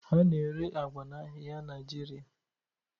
A na-ere agwa n'ahịa Naịjirịa.